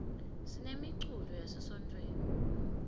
sinemiculo yase sontfweni